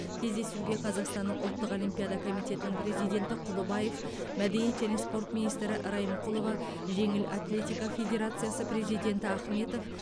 кездесуге қазақстанның ұлттық олимпиада комитетінің президенті құлыбаев мәдениет және спорт министрі райымқұлова жеңіл атлетика федерациясының президенті ахметов